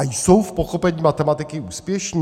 A jsou v pochopení matematiky úspěšní?